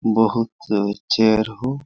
बहुत च चेयर हो।